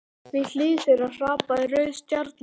Við hlið þeirra hrapaði rauð stjarna.